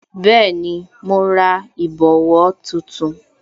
Bẹẹni, mo ra ìbòwó tuntun